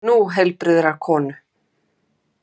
Nú heilbrigðrar konu.